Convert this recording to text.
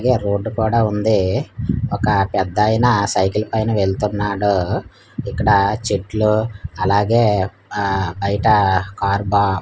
road కూడా ఉంది ఒక పెద్దాయన సైకిల్ పైన వెళ్తున్నాడు ఇక్కడ చెట్లు అలాగే ఆ బయట కార్ బా--